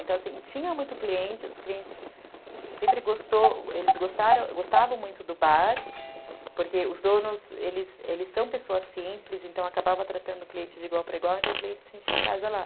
Então, assim, tinha muito cliente, os clientes sempre gostaram, eles gostavam muito do bar, porque os donos, eles eles são pessoas simples, então acabava tratando o cliente de igual para igual, então o cliente sentia em casa lá.